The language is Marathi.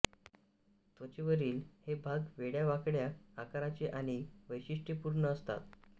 त्वचेवरील हे भाग वेड्यावाकड्या आकाराचे आणि वैशिष्ट्यपूर्ण असतात